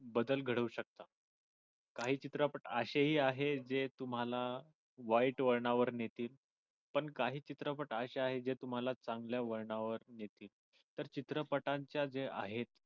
बदल घडवू शकतात काही चित्रपट अशेही आहेत जे तुम्हाला वाईट वळणावर नेतील पण काही चित्रपट अशे आहेत जे तुम्हाला चांगल्या वळणावर नेतील त्या चित्रपटांच्या जे आहेत.